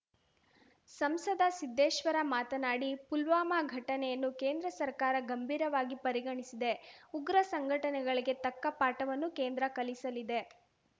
ಸಂಸದ ಸಿದ್ದೇಶ್ವರ ಮಾತನಾಡಿ ಪುಲ್ವಾಮಾ ಘಟನೆಯನ್ನು ಕೇಂದ್ರ ಸರ್ಕಾರ ಗಂಭೀರವಾಗಿ ಪರಿಗಣಿಸಿದೆ ಉಗ್ರ ಸಂಘಟನೆಗಳಿಗೆ ತಕ್ಕ ಪಾಠವನ್ನೂ ಕೇಂದ್ರ ಕಲಿಸಲಿದೆ